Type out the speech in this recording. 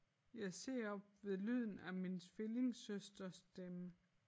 Jeg ser op ved lyden af min tvillingesøsters stemme